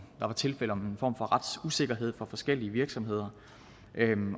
der var tilfælde af en form for retsusikkerhed for forskellige virksomheder